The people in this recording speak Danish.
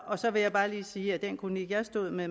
og så vil jeg bare lige sige at den kronik jeg stod med